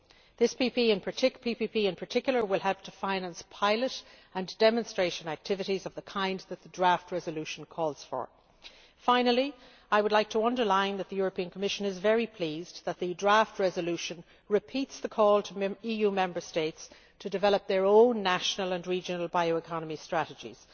This PPP in particular will help to finance pilot and demonstration activities of the kind that the draft resolution calls for. Finally, I would like to underline that the Commission is very pleased that the draft resolution repeats the call to EU Member States to develop their own national and regional bioeconomy strategies.